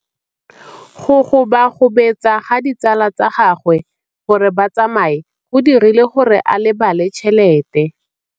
Go gobagobetsa ga ditsala tsa gagwe, gore ba tsamaye go dirile gore a lebale tšhelete.